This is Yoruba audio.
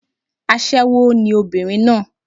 Aṣẹ́wó ni obìnrin náà